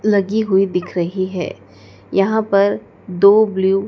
लगी हुई दिख रही है यहां पर दो ब्ल्यू --